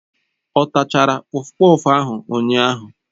Ọ tachara kpọfkpọf ahụ ụnyahụ?